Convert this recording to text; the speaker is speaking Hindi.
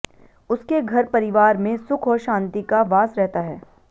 उसके घर परिवार में सुख और शान्ति का वास रहता है